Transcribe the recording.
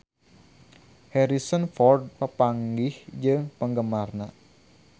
Harrison Ford papanggih jeung penggemarna